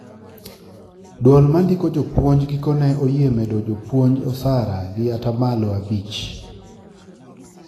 Duol ,mandiko jopuonj gikone oyie medo jopuonj osara gi atamalo abich